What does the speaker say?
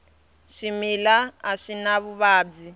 swimila a swi na vuvabyi